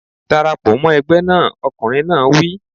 Dara pọ̀ mọ́ ẹgbẹ́ náà! Ọkùnrin náà wí.